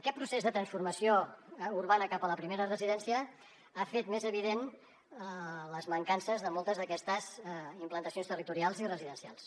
aquest procés de transformació urbana cap a la primera residència ha fet més evident les mancances de moltes d’aquestes implantacions territorials i residencials